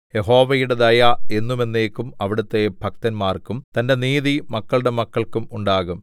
യഹോവയുടെ ദയ എന്നും എന്നേക്കും അവിടുത്തെ ഭക്തന്മാർക്കും തന്റെ നീതി മക്കളുടെ മക്കൾക്കും ഉണ്ടാകും